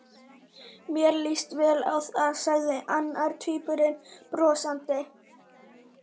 Mér líst vel á það sagði annar tvíburinn brosandi.